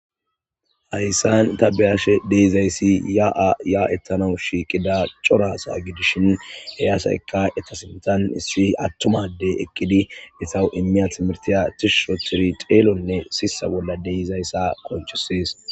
Hayssan ta be'ashe de'izayssi ya'a ya'etanaw shiiqida cora asa gidishin he asaykka eta sinththan issi attuma addey eqqidi eetaw immiya timirtiya tishsh ooththidi xeelonne siissa bolla dizayssa qoncises.